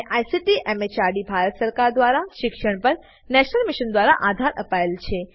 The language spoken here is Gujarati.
જેને આઈસીટી એમએચઆરડી ભારત સરકાર મારફતે શિક્ષણ પર નેશનલ મિશન દ્વારા આધાર અપાયેલ છે